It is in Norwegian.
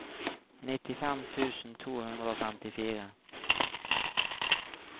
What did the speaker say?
nittifem tusen to hundre og femtifire